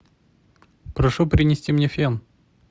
прошу принести мне фен